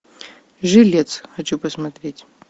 жилец хочу посмотреть